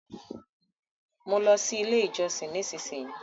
mọ ló sì ilé ìjósìn! nísìsiyìí.